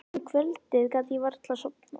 Um kvöldið gat ég varla sofnað.